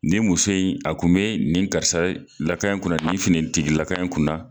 Nin muso in a kun be nin karisala ka in kunna ,nin finitigila ka in kunna .